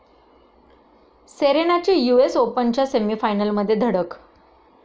सेरेनाची US ओपनच्या सेमीफायनलमध्ये धडक